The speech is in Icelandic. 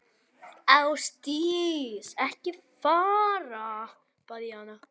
Ásdís, ekki fara, bað ég hana.